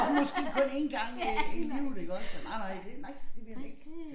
Og måske kun én gang i øh i livet iggås og nej nej det nej det ville han ikke